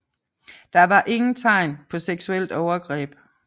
Der var ingen tegn på seksuelt overgreb